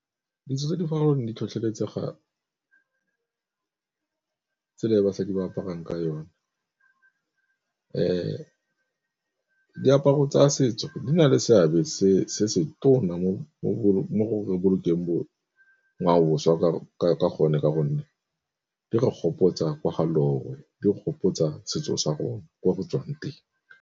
Ditso tse di farologaneng di tlhotlheletsega tsela e basadi ba aparang ka yone, diaparo tsa setso di na le seabe se se tona mo go bolokeng ngwaoboswa ka gonne ka gonne di gopotsa kwa ga loe di gopotsa setso sa go ko re tswang teng.